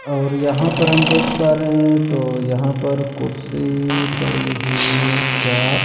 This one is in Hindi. और यहां पर हम देख पा रहे हैं तो यहां पर कुर्सी पड़ी हुई है चार--